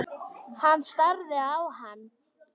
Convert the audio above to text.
Hann starði á hann.